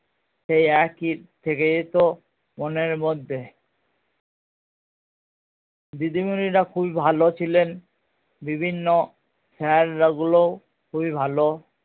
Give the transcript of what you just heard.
সেই একই থেকে যেত মনের মধ্যে দিদিমণিরা খুবই ভালো ছিলেন বিভিন্ন sir গুলোও খুবই ভালো